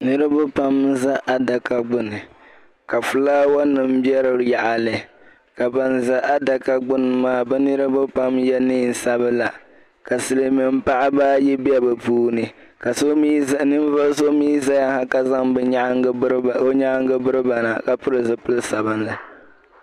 Niriba pam n-za adaka gbini ka fulaawanima be di yaɣili ka ban za adaka gbini maa bɛ niriba pam ye neen' sabila ka silimiim paɣiba ayi be bɛ puuni ka ninvuɣ' so mi zaya ha ka zaŋ o nyaaŋga biri ba na ka pili zipil' sabilinli.